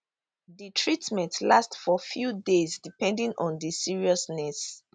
di treatment last for few days depending on di seriousness